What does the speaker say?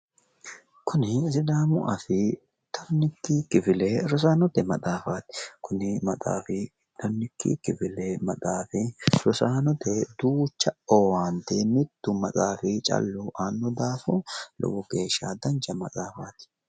Kuni sidaamu afii tonnikki kifile rosaanote maxaafaati. Kuni maxaafi rosaanote duucha owaante mittu maxaafi callu aanno daafo lowo geeshsha dancha maxaafaati.